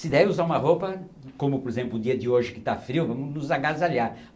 Se der usar uma roupa, como por exemplo o dia de hoje que está frio, vamos nos agasalhar.